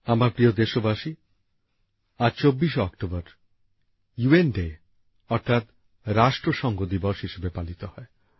আমার প্রিয় দেশবাসী আজ ২৪শে অক্টোবর ইউএন ডে অর্থাৎ রাষ্ট্রসংঘ দিবস হিসেবে পালিত হয়